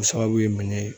O sababu ye mun ye